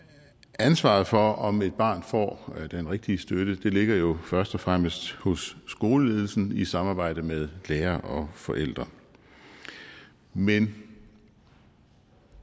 ansvaret for om et barn får den rigtige støtte ligger jo først og fremmest hos skoleledelsen i samarbejde med lærere og forældre men